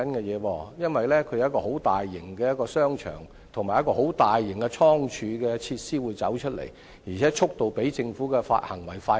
那裏將會落成一個很大型的商場及倉儲設施，而且興建速度較政府的發展更快。